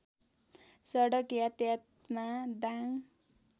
सडक यतायतमा दाङ